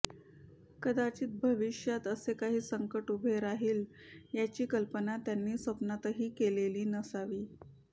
कदाचित भविष्यात असे काही संकट उभे राहील याची कल्पना त्यांनी स्वप्नातही केलेली नसावी